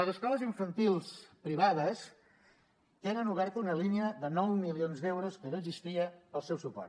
les escoles infantils privades tenen oberta una línia de nou milions d’euros que no existia per al seu suport